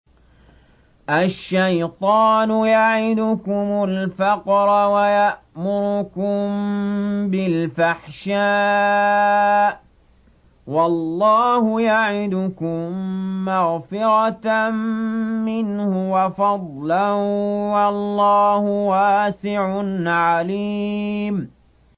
الشَّيْطَانُ يَعِدُكُمُ الْفَقْرَ وَيَأْمُرُكُم بِالْفَحْشَاءِ ۖ وَاللَّهُ يَعِدُكُم مَّغْفِرَةً مِّنْهُ وَفَضْلًا ۗ وَاللَّهُ وَاسِعٌ عَلِيمٌ